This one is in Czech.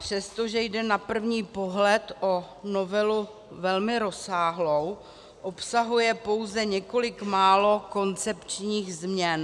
Přestože jde na první pohled o novelu velmi rozsáhlou, obsahuje pouze několik málo koncepčních změn.